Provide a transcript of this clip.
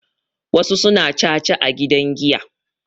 wasu suna caca a gidan giya